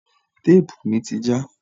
Téèpù mi ti já.